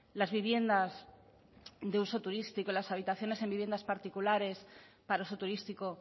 las viviendas de uso turístico y las habitaciones en viviendas particulares para uso turístico